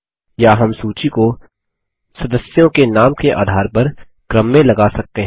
या हम सूची को सदस्यों के नाम के आधार पर क्रम में लगा सकते हैं